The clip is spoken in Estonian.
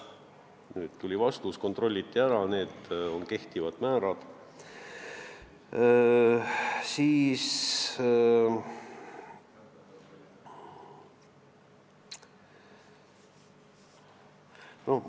Nüüd tuli vastus, et seda kontrolliti, see kehtib endiselt.